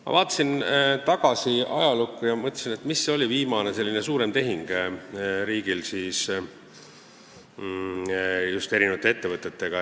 Ma vaatasin tagasi ajalukku ja mõtlesin, mis oli viimane selline suurem tehing riigil, seda just erinevate ettevõtetega.